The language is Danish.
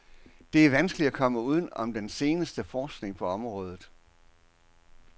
Det er vanskeligt at komme uden om den seneste forskning på området.